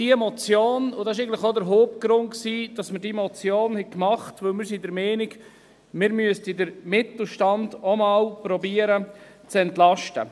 Dies war der Hauptgrund für diese Motion, denn wir sind der Meinung, wir müssten auch einmal versuchen, den Mittelstand zu entlasten.